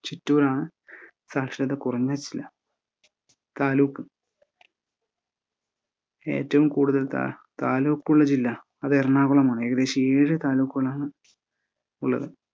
ചിറ്റൂരാണ് സാക്ഷരതാ കുറഞ്ഞ ജില്ലാ താലൂക്ക് ഏറ്റവും കൂടുതൽ താ ~ താലൂക്കുള്ള ജില്ലാ അത് എറാണാകുളമാണ് ഏകദേശം ഏഴ് താലൂക്കുകളാണ് ഉള്ളത്.